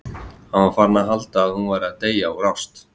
Hann var farinn að halda að hún væri að deyja úr ást!